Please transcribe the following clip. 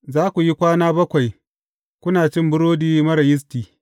Za ku yi kwana bakwai kuna cin burodi marar yisti.